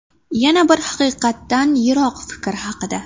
Yana bir haqiqatdan yiroq fikr haqida.